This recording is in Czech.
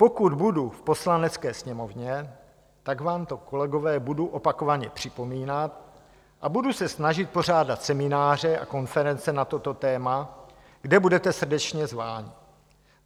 Pokud budu v Poslanecké sněmovně, tak vám to, kolegové, budu opakovaně připomínat a budu se snažit pořádat semináře a konference na toto téma, kde budete srdečně zváni.